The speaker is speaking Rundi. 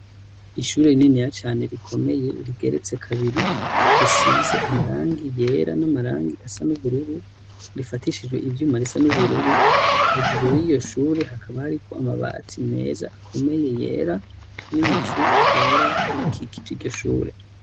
Ishure rininiya cane rikomeye rigeretse kabiri risize amarangi yera n'amarangi asa n'ubururu rifatishijwe ivyuma bisa n'ubururu hejuru y'iyo shure hakaba hariko amabati meza akomeye yera n'ibicu vyera bikikije iryo shure.